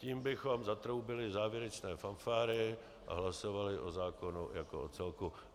Tím bychom zatroubili závěrečné fanfáry a hlasovali o zákonu jako o celku.